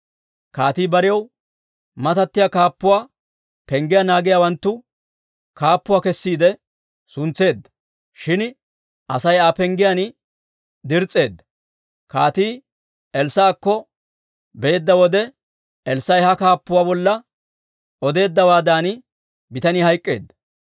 Kaatii barew matattiyaa kaappuwaa penggiyaa naagiyaawanttu kaappuwaa kessiide suntseedda; shin Asay Aa penggiyaan dirs's'eedda. Kaatii Elssaa'akko beedda wode, Elssaa'i ha kaappuwaa bolla odeeddawaadan, bitanii hayk'k'eedda.